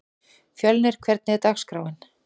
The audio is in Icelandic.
Fjölnir, hvernig er dagskráin?